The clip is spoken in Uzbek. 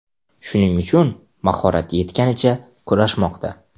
Shuning uchun mahorati yetganicha kurashmoqda.